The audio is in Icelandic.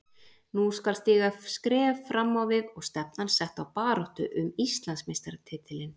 Nú skal stíga skref fram á við og stefnan sett á baráttu um Íslandsmeistaratitilinn.